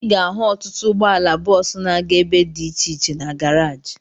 Ị ga-ahụ ọtụtụ ụgbọala bọọsu na-aga ebe dị iche iche na garaji